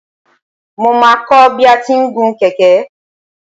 Mo máa kọ́ bi a ti ń gun kẹ̀kẹ́.